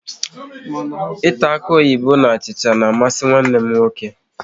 Ịta akuoyibo na achịcha na amasị nwanne m nwoke